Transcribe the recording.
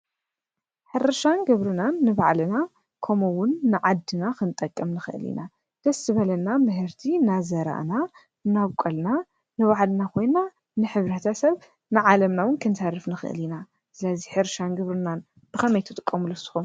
ሕርሻን ግብርናን ንባዕልናን ከምኡእውን ንዓድናን ክንጠቅም ንክእል ኢና። ደስ ዝበለና ምህርቲ እናዘርኣና እናቡቀልና ንባዕልና ኮይና ንሕብረተሰብ ንዓለምና እውን ክንተርፍ ንክእል ኢና። ስለዚ ሕርሻን ግብርናን ብከመይ ትጥቀምሉ ንሱኩም?